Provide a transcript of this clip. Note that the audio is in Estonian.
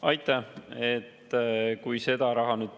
Aitäh!